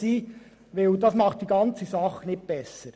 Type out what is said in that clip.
Das macht die ganze Sache nicht besser.